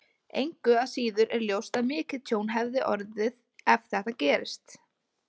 Engu að síður er ljóst að mikið tjón hefði orðið ef þetta gerist.